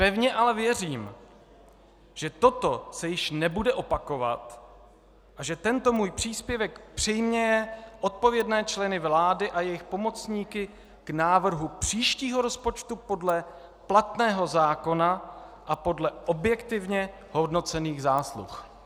Pevně ale věřím, že toto se již nebude opakovat a že tento můj příspěvek přiměje odpovědné členy vlády a jejich pomocníky k návrhu příštího rozpočtu podle platného zákona a podle objektivně hodnocených zásluh.